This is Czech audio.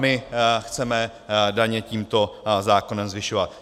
My chceme daně tímto zákonem zvyšovat.